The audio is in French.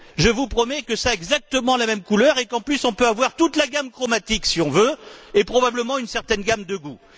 Je vous promets que ça a exactement la même couleur et qu'en plus, on peut avoir toute la gamme chromatique, si on veut, et probablement, une certaine gamme de goût.